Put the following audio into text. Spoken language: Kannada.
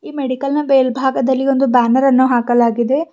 ಈ ಮೆಡಿಕಲ್ ನ ಮೇಲ್ಭಾಗದಲ್ಲಿ ಒಂದು ಬ್ಯಾನರನ್ನು ಹಾಕಲಾಗಿದೆ.